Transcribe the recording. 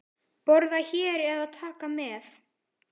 Borða hér eða taka með?